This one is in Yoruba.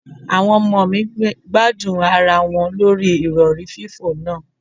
Àwọn ọmọ mi gbádùn ara wọn lórí Ìrọ̀rí fífò náà.